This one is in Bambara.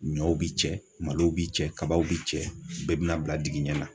Ɲɔw bi cɛ, malo bi cɛ, kabaw bi cɛ, bɛɛ bina bila dingin ɲɛ la